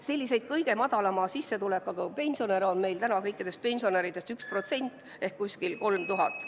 Selliseid kõige madalama sissetulekuga pensionäre on meil kõikidest pensionäridest 1% ehk umbes 3000.